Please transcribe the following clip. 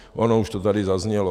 Ono už to tady zaznělo.